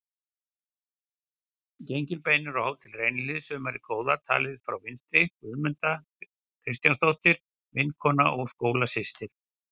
Gengilbeinur á Hótel Reynihlíð sumarið góða, talið frá vinstri: Guðmunda Kristinsdóttir, vinkona og skólasystir